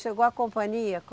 Chegou a companhia?